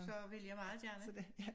Så vil jeg meget gerne